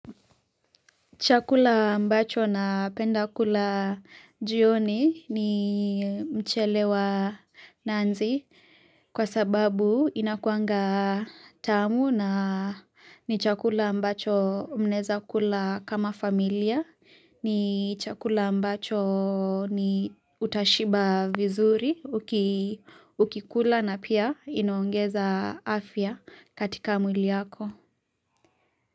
Chakula ambacho napenda kula jioni ni mchele wa nanzi kwa sababu inakuanga tamu na ni chakula ambacho mnaeza kula kama familia. Ni chakula ambacho utashiba vizuri ukikula na pia inaongeza afya katika mwili yako.